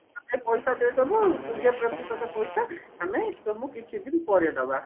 ଆମେ ପଇସା ଦେଇଦେବୁ କୁଡିଏ ପ୍ରତିଶତ ପଇସା ଆମେ ତମକୁ କିଛି ଦିନ ପର ଦବା